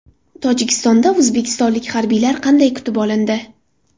Tojikistonda o‘zbekistonlik harbiylar qanday kutib olindi?.